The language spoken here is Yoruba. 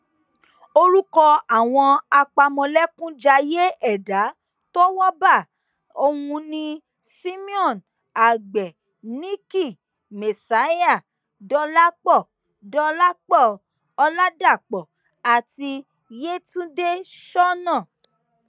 orúkọ àwọn apámọlékunjayé ẹdà tówó bá ọhún ni simeon àgbẹ nicky messiah dọlàpọ dọlàpọ ọlàdàpọ àti yetundé ṣọnà